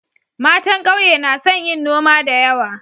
Matan kauye na son yin noma da yawa.